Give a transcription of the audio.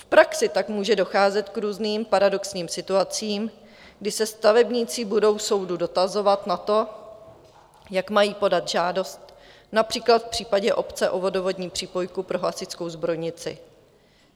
V praxi tak může docházet k různým paradoxním situacím, kdy se stavebníci budou soudu dotazovat na to, jak mají podat žádost, například v případě obce o vodovodní přípojku pro hasičskou zbrojnici.